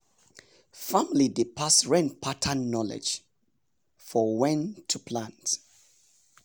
family dey pass rain pattern knowledge for when to plants.